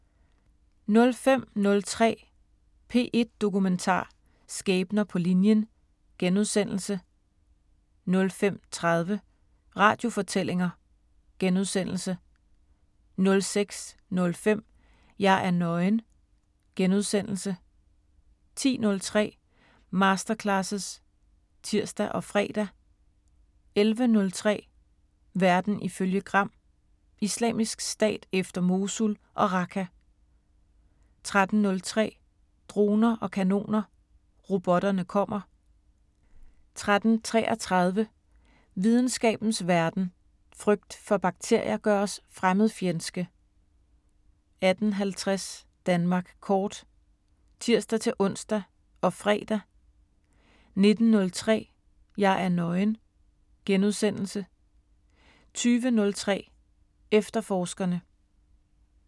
05:03: P1 Dokumentar: Skæbner på linjen * 05:30: Radiofortællinger * 06:05: Jeg er nøgen * 10:03: Masterclasses (tir og fre) 11:03: Verden ifølge Gram: Islamisk Stat efter Mosul og Raqqa 13:03: Droner og kanoner: Robotterne kommer 13:33: Videnskabens Verden: Frygt for bakterier gør os fremmedfjendske 18:50: Danmark kort (tir-ons og fre) 19:03: Jeg er nøgen * 20:03: Efterforskerne *